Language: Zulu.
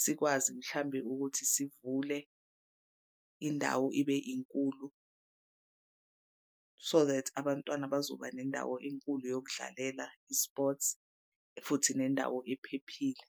sikwazi mhlambe ukuthi sivule indawo ibe inkulu. So that abantwana bazoba nendawo enkulu yokudlalela i-sports futhi nendawo ephephile.